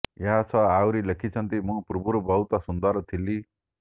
ଏହା ସହ ଆହୁରି ଲେଖିଛନ୍ତି ମୁଁ ପୂର୍ବରୁ ବହୁତ ସୁନ୍ଦର ଥିଲି